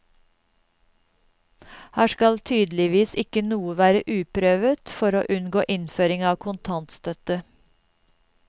Her skal tydeligvis ikke noe være uprøvet for å unngå innføring av kontantstøtte.